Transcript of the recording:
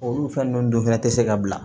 Olu fɛn nunnu dun fɛnɛ te se ka bila